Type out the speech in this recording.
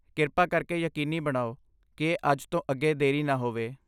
ਕਿਰਪਾ ਕਰਕੇ ਯਕੀਨੀ ਬਣਾਓ ਕਿ ਇਹ ਅੱਜ ਤੋਂ ਅੱਗੇ ਦੇਰੀ ਨਾ ਹੋਵੇ।